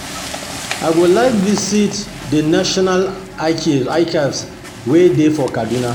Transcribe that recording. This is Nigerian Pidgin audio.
I go like visit the National Archives wey dey for Kaduna